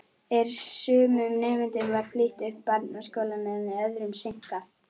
En sumum nemendum var flýtt upp barnaskólann en öðrum seinkað.